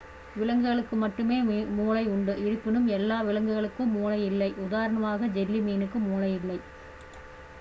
விலங்குகளுக்கு மட்டுமே மூளை உண்டு இருப்பினும் எல்லா விலங்குகளுக்கும் மூளை இல்லை; உதாரணமாக ஜெல்லி மீனுக்கு மூளை இல்லை